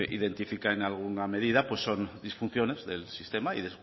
identifica en alguna medida pues son disfunciones del sistema y